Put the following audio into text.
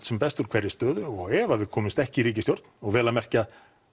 sem best úr hverri stöðu og ef að við komumst ekki í ríkisstjórn og vel að merkja